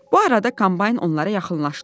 Bu arada kombayn onlara yaxınlaşdı.